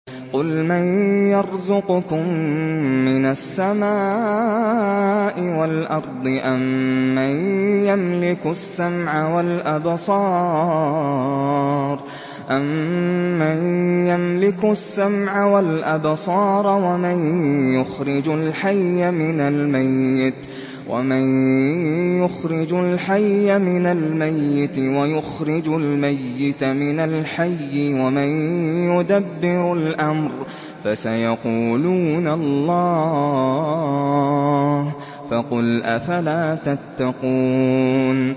قُلْ مَن يَرْزُقُكُم مِّنَ السَّمَاءِ وَالْأَرْضِ أَمَّن يَمْلِكُ السَّمْعَ وَالْأَبْصَارَ وَمَن يُخْرِجُ الْحَيَّ مِنَ الْمَيِّتِ وَيُخْرِجُ الْمَيِّتَ مِنَ الْحَيِّ وَمَن يُدَبِّرُ الْأَمْرَ ۚ فَسَيَقُولُونَ اللَّهُ ۚ فَقُلْ أَفَلَا تَتَّقُونَ